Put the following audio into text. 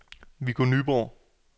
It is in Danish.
Viggo Nyborg